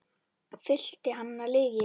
Fyllt hann af lygi.